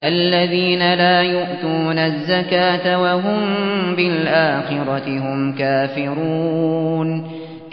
الَّذِينَ لَا يُؤْتُونَ الزَّكَاةَ وَهُم بِالْآخِرَةِ هُمْ كَافِرُونَ